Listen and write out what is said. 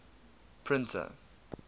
printer